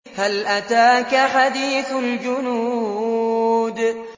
هَلْ أَتَاكَ حَدِيثُ الْجُنُودِ